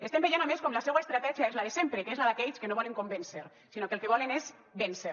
estem veient a més com la seua estratègia és la de sempre que és la d’aquells que no volen convèncer sinó que el que volen és vèncer